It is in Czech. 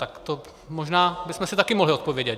Tak to možná bychom si také mohli odpovědět.